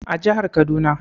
A jihar Kaduna